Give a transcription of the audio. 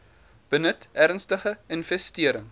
benut ernstige infestering